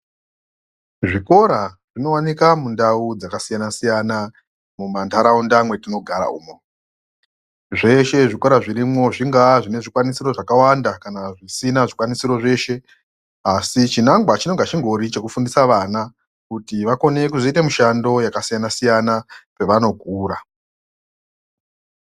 Zvikora zvinovanika mundau dzakasiyana-siyana mumantaraunda mwetinogara umo. Zveshe zvikora zvirimwo zvingaa zvine zvikwanisiro zvakawanda kana zvisina zvikwanisiro zveshe. Asi chinangwa chinonga chingori chekufundisa vana kuti vakone kuzvoita mushando yakasiyana-siyana pavanokura.